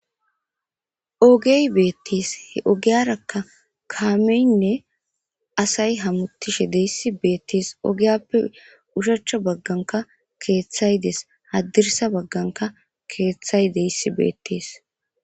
Ogey beettis he ogiyarakka kaameynne asay hamutishe deyssi beettes ogiyappe ushachcha bagganka keeththay dees haddirsa bagganka keeththay deyssi beettees.